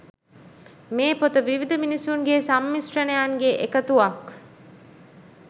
මේ පොත විවිධ මිනිසුන්ගේ සම්මිශ්‍රණයන්ගේ එකතුවක්